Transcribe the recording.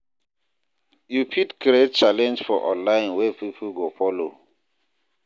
You fit create challenge for online wey pipo go follow